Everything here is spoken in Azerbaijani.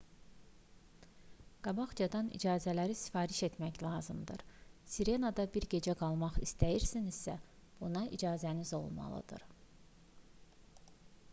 qabaqcadan icazələri sifariş etmək lazımdır. sirena"da bir gecə qalmaq istəyirsinizsə buna icazəniz olmalıdır